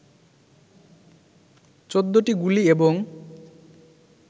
১৪টি গুলি এবং